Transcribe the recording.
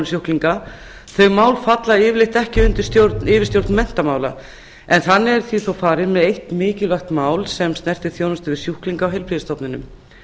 sjúklinga þau mál falla yfirleitt ekki undir yfirstjórn menntamála en þannig er því svo farið með eitt mikilvægt mál sem snertir þjónustu við sjúklinga á heilbrigðisstofnunum